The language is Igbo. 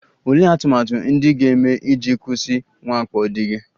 Olee atụmatụ ndị ị ga-eme iji kwụsị mwakpo di gị?